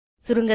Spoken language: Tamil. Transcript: சுருங்க சொல்ல